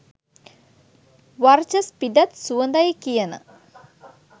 වර්චස් පිඩත් සුවඳයි කියන.